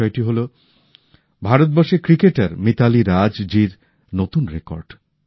বিষয়টা হল ভারতবর্ষের ক্রিকেটার মিতালী রাজজির নতুন রেকর্ড